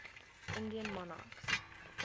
indian monarchs